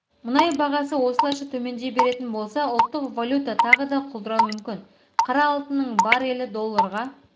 мұнай бағасы осылайша төмендей беретін болса ұлттық валюта тағы да құлдырауы мүмкін қара алтынның барелі долларға